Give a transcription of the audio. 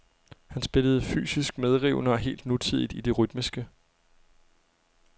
Han spillede fysisk medrivende og helt nutidigt i det rytmiske.